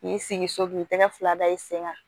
K'i sigi so k'i tɛgɛ fila da i sen kan